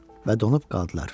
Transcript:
Və donub qaldılar.